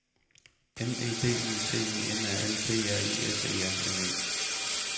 M E D I C I N A L P R I S E R N E